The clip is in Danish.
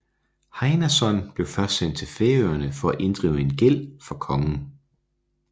Heinason blev først sendt til Færøerne for at inddrive en gæld for kongen